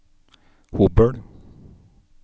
Hobøl